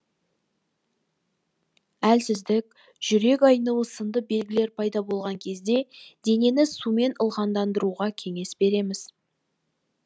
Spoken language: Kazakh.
әлсіздік жүрек айнуы сынды белгілер пайда болған кезде денені сумен ылғалдандыруға кеңес береміз